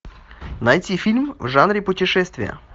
найти фильм в жанре путешествия